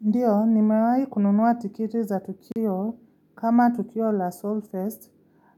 Ndiyo, nimewai kununuwa tikiti za Tukio kama Tukio la Soul Fest.